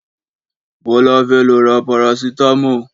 Bọlá fẹ́ lọ ra Parasítámọ̀